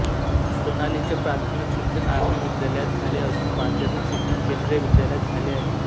सोनालीचे प्राथमिक शिक्षण आर्मी विद्यालयात झाले असून माध्यमिक शिक्षण केंद्रीय विद्यालयात झाले आहे